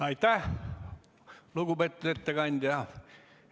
Aitäh, lugupeetud ettekandja!